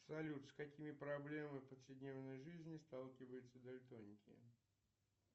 салют с какими проблемами повседневной жизни сталкиваются дальтоники